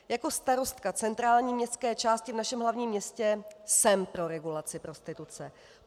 Jako starostka centrální městské části v našem hlavním městě jsem pro regulaci prostituce.